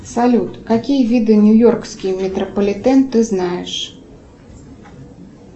салют какие виды нью йоркский метрополитен ты знаешь